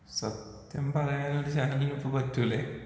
സത്യം പറയാൻ ഒരു ചാനലിനും ഇപ്പൊ പറ്റില്ലേ?